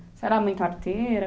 Você era muito arteira?